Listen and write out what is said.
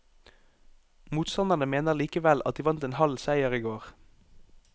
Motstanderne mener likevel at de vant en halv seier i går.